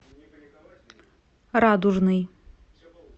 радужный